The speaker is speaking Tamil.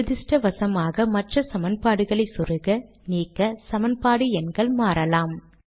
துரத்ருஷ்டவசமாக மற்ற சமன்பாடுகளை சொருக நீக்க சமன்பாடு எண்கள் மாறலாம்